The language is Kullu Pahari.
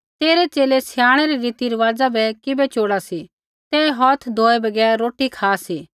तेरै च़ेले स्याणै रै रीतिरिवाज़ा बै किबै चोड़ा सी ते हौथ धोऐ बगैर रोटी खा सी